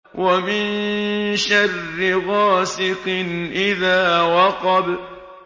وَمِن شَرِّ غَاسِقٍ إِذَا وَقَبَ